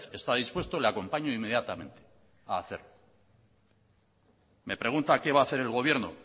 está dispuesto le acompaño inmediatamente a hacerlo me pregunta qué va a hacer el gobierno